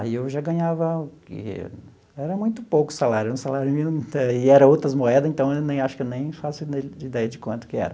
Aí eu já ganhava, era muito pouco o salário, um salário mínimo e era outras moeda, então eu nem acho que eu nem faço ideia de quanto que era.